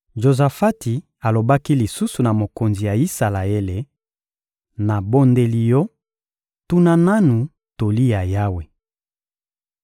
Jozafati alobaki lisusu na mokonzi ya Isalaele: — Nabondeli yo, tuna nanu toli ya Yawe.